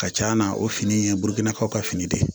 Ka ca na o fini ye burukinaw ka fini de ye